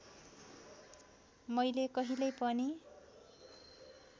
मैले कहिल्यै पनि